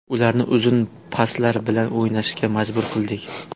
Ularni uzun paslar bilan o‘ynashga majbur qildik.